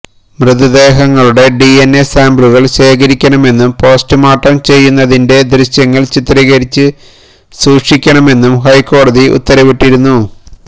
മൃതദേഹങ്ങളുടെ DNA സാമ്പിളുകള് ശേഖരിക്കണമെന്നും postmortem ചെയ്യുന്നതിന്റെ ദൃശ്യങ്ങള് ചിത്രീകരിച്ച് സൂക്ഷിക്കണമെന്നും ഹൈക്കോടതി ഉത്തരവിട്ടിരുന്നു